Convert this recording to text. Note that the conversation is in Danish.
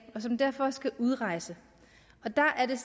og som derfor skal udrejse der er det